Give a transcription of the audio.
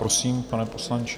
Prosím, pane poslanče.